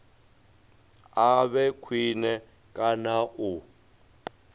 a vhe khwine kana u